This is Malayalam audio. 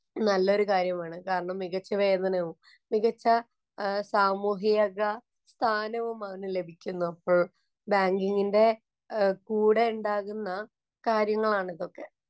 നല്ലൊരു കാര്യമാണ്. കാരണം മികച്ച വേതനവും, മികച്ച സാമൂഹിക സ്ഥാനവും അവനു ലഭിക്കുന്നു എപ്പോഴും. ബാങ്കിങ്ങിന്‍റെ കൂടെയുണ്ടാകുന്ന കാര്യങ്ങളാണ് ഇതൊക്കെ.